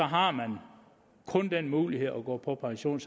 har man kun den mulighed at gå på pension